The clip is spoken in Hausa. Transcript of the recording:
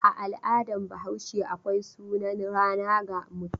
A al'adar Bahaushe akwai sunan rana ga mutum.